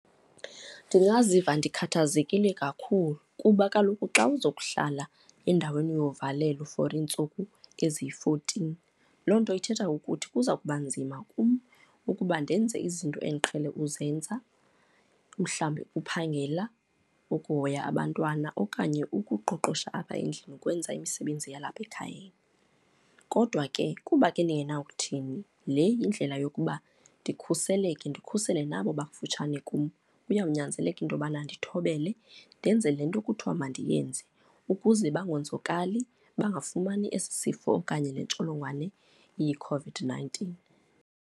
Ndingaziva ndikhathazekile kakhulu kuba kaloku xa uza kuhlala endaweni yovalelo for iintsuku eziyi-fourteen, loo nto ithetha ukuthi kuza kuba nzima kum ukuba ndenze izinto endiqhele uzenza, mhlawumbi uphangela, ukuhoya abantwana okanye ukuqoqosha apha endlini, ukwenza imisebenzi yalapha ekhayeni. Kodwa ke kuba ke ndingena kuthini, le yindlela yokuba ndikhuseleke, ndikhusele nabo bakufutshane kum. Kuyawunyanzeleka into yokubana ndithobele, ndenze le nto kuthiwa mandiyenze ukuze bangonzakali, bangafumani esi sifo okanye le ntsholongwane iyiCOVID-nineteen.